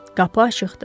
Qapı açıqdır.